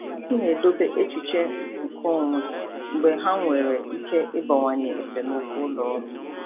M na-edobe echiche nkeonwe mgbe ha nwere ike ịbawanye esemokwu ụlọ ọrụ.